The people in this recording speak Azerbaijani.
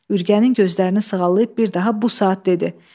Ürgənin gözlərini sığallayıb bir daha bu saat dedi.